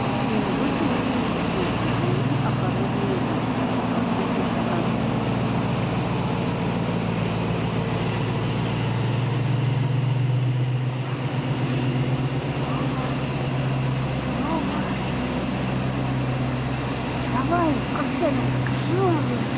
внизу темнели теплицы за ней огородные грядки потом начался газон